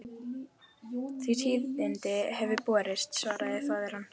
Þau tíðindi höfðu borist, svaraði faðir hans.